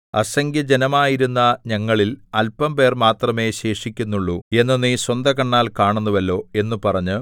അസംഖ്യജനമായിരുന്ന ഞങ്ങളിൽ അല്പംപേർ മാത്രമേ ശേഷിക്കുന്നുള്ളു എന്ന് നീ സ്വന്തകണ്ണാൽ കാണുന്നുവല്ലോ എന്ന് പറഞ്ഞു